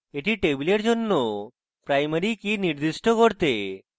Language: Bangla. এটি table জন্য primary key নির্দিষ্ট করতে